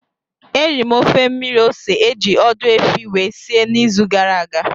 Eriri m ofe mmiri ose eji ọdụ efi wee si n'izu gara aga